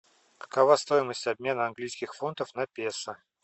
какова стоимость обмена английских фунтов на песо